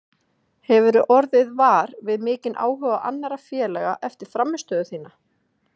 Hefurðu orðið var við mikinn áhuga annarra félaga eftir frammistöðu þína?